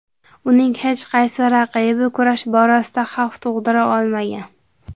Uning hech qaysi raqibi kurash borasida xavf tug‘dira olmagan.